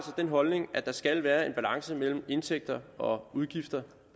den holdning at der skal være en balance mellem indtægter og udgifter